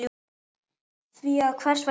Því að hvers vegna ekki?